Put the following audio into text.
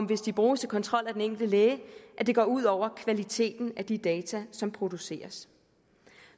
hvis det bruges til kontrol af den enkelte læge at det går ud over kvaliteten af de data som produceres